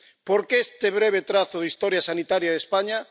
¿Por qué este breve trazo de la historia sanitaria de España?